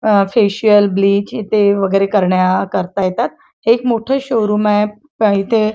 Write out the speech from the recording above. अ facial bleach ते वगैरे करण्याकरता येतात एक मोठ शोरूम आहे प इथे--